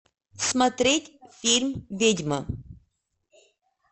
смотреть фильм ведьма